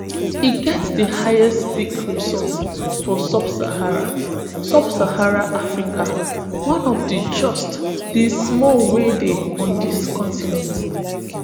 e get di highest ski resort for subsaharan subsaharan africa one of just di small wey dey on di continent